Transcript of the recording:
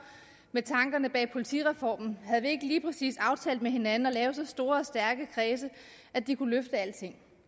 med tankerne bag politireformen havde vi ikke lige præcis aftalt med hinanden at lave så store og stærke kredse at de kunne løfte alting